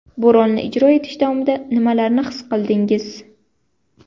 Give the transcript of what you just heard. Bu rolni ijro etish davomida nimalarni his qildingiz?